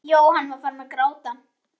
Jóhann var farinn að gráta.